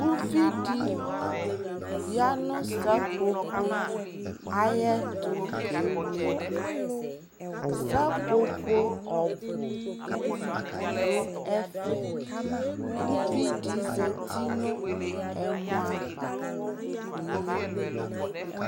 Uvi di ya nʋ sapopo ayɛtʋ kewle dʋ Sapopo ɔbʋ dʋ ɛfɛ Uvi di zati nʋ ɛmɔ ava kʋ oyeli